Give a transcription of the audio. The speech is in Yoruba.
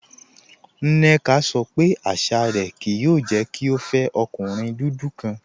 Nneka sọ pé àṣà rẹ kìí yòò jẹ́ kí o fẹ ọ̀kùnrin dúdú kan